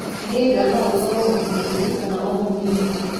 Mũhĩnga no ũkoro mũkinyanĩru kana o mũnini.